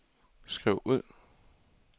skriv ud